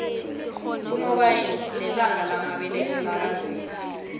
kunobayeni sinelanga lamabeletho laka zimu